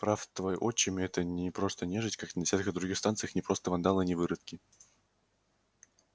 прав твой отчим это не просто нежить как на десятках других станций не просто вандалы не выродки